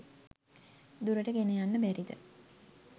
දුරට ගෙනයන්න බැරිද?